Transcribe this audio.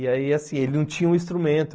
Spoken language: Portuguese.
E aí, assim, ele não tinha um instrumento.